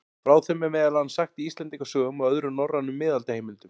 Frá þeim er meðal annars sagt í Íslendingasögum og öðrum norrænum miðaldaheimildum.